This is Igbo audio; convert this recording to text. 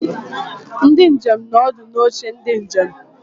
Ndi njem nọ ọdụ n'oche ndị njem.